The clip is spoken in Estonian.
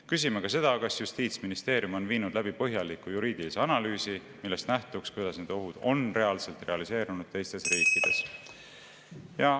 Küsime ka seda, kas Justiitsministeerium on viinud läbi põhjaliku juriidilise analüüsi, millest nähtuks, kuidas need ohud on reaalselt realiseerunud teistes riikides.